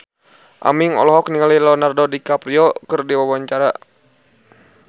Aming olohok ningali Leonardo DiCaprio keur diwawancara